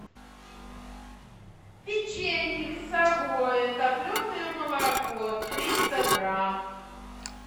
печенье весовое топленое молоко триста грамм